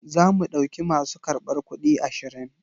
Zamu ɗauki masu karbar kuɗi ashirin.